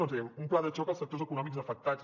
dèiem un pla de xoc als sectors econòmics afectats